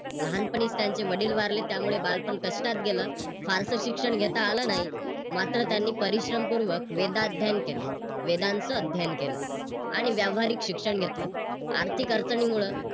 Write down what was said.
लहानपणी त्यांचे वडील वारले त्यामुळे बालपण कष्टात गेल फारस शिक्षण घेता आले नाही. मात्र त्यांनी परिश्रमपूर्वक वेदाध्ययन केल वेदांचं अध्ययन केल. आणि व्यावहारिक शिक्षण घेतलं. आर्थिक अडचणीमुळे